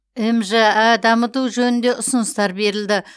мжә дамыту жөнінде ұсыныстар берілді